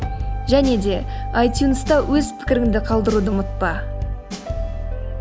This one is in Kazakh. және де айтюнста өз пікіріңді қалдыруды ұмытпа